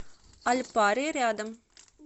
альпари рядом